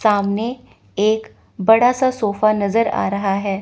सामने एक बड़ा सा सोफा नजर आ रहा हैं।